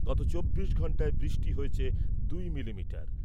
গত চব্বিশ ঘন্টায় বৃষ্টি হয়েছে দুই মিলিমিটার ।